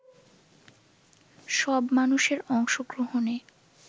সব মানুষের অংশগ্রহণে